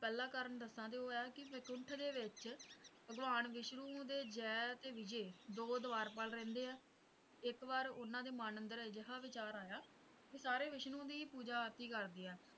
ਪਹਿਲਾਂ ਕਾਰਨ ਦੱਸਾਂ ਤੇ ਉਹ ਇਹ ਹੈ ਕਿ ਬੈਕੁੰਠ ਦੇ ਵਿੱਚ ਭਗਵਾਨ ਵਿਸ਼ਨੂੰ ਦੇ ਜੈ ਤੇ ਵਿਜੇ ਦੋ ਵਾਰਪਾਲ ਰਹਿੰਦੇ ਹੈ ਇੱਕ ਵਾਰੀ ਉਨ੍ਹਾਂ ਦੇ ਮਨ ਅੰਦਰ ਇਹੋ ਜਿਹਾ ਵਿਚਾਰ ਆਇਆ ਵੀ ਸਾਰੇ ਵਿਸ਼ਨੂੰ ਦੀ ਹੀ ਪੂਜਾ ਆਪ੍ਰਤੀ ਕਰਦੇ ਹੈਂ